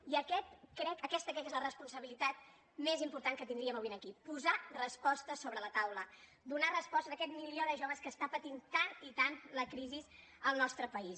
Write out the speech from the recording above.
i aquesta crec que és la responsabilitat més important que tindríem avui aquí posar respostes sobre la taula donar respostes a aquest milió de joves que està patint tant i tant la crisi al nostre país